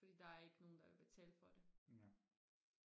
fordi der er ikke nogen der vil betale for det